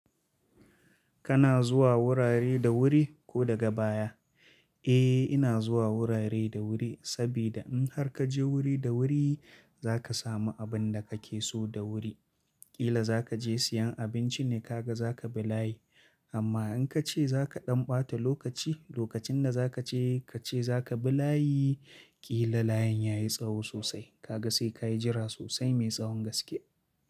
Kana zuwa wurare da wuri ko daga baya? Eh, ina zuwa wurare da wuri sabida in har ka je wuri da wuri za ka sami abin da ka ke so da wuri. Kila za ka je siyan abinci ne ka ga za ka bi layi amma in ka ce za ka ɗan ɓata lokaci, lokacin da za ka ce ka ce za ka bi layi, kila layin ya yi tsawo sosai ka ga sai ka yi jira sosai mai tsahon gaske.